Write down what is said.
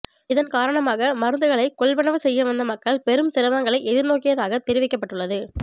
இதன் காரணமாக மருந்துகளை கொள்வனவு செய்ய வந்த மக்கள் பெரும் சிரமங்களை எதிர்நோக்கியதாக தெரிவிக்கப்பட்டுள்ளது